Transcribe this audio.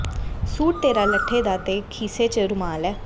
suit ਤੇਰਾ ਲੱਠੇ ਦਾ ਤੇ ਖੀਸੇ ਚ ਰੁਮਾਲ ਏ